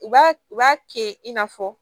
U b'a u b'a kɛ i n'a fɔ